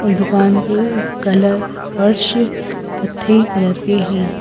और दुकान के कलर वर्ष कथई कलर के हैं।